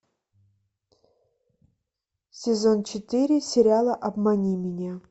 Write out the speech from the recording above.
сезон четыре сериала обмани меня